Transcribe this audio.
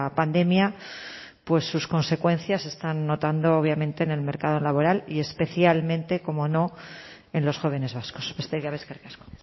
pandemia pues sus consecuencias se están notando obviamente en el mercado laboral y especialmente cómo no en los jóvenes vascos besterik gabe eskerrik asko